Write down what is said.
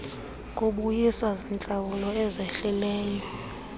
kubuyiswa ziintlawulo ezehlileyo